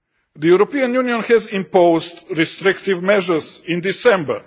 The European Union imposed restrictive measures in December.